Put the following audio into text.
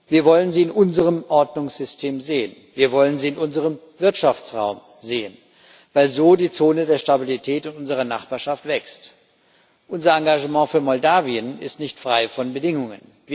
Wir wollen sie in unserem Ordnungssystem sehen, wir wollen sie in unserem Wirtschaftsraum sehen, weil so die Zone der Stabilität in unserer Nachbarschaft wächst. Unser Engagement für Moldawien ist nicht frei von Bedingungen.